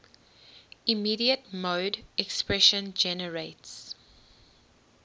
immediate mode expression generates